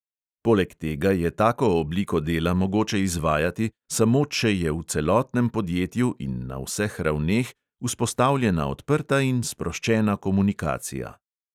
Poleg tega je tako obliko dela mogoče izvajati, samo če je v celotnem podjetju in na vseh ravneh vzpostavljena odprta in sproščena komunikacija.